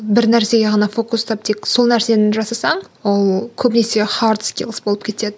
бір нәрсеге ғана фокустап тек сол нәрсені жасасаң ол көбінесе хард скилс болып кетеді